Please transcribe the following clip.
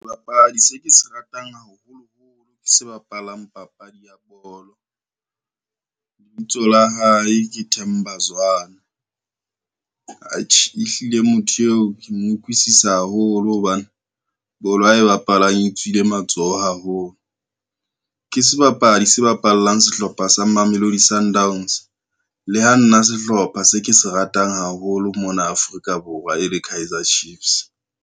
Sebapadi se ke se ratang haholoholo ke se bapalang papadi ya bolo. Lebitso la hae ke Themba Zwane. Atjhe e hlile motho eo ke mo utlwisisa haholo hobane, bolo ae bapalang e tswile matsoho haholo. Ke sebapadi se bapallang sehlopha sa Mamelodi Sundowns, le ha nna sehlopha se ke se ratang haholo mona Afrika Borwa e le Kaizer Chiefs.